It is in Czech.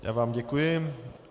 Já vám děkuji.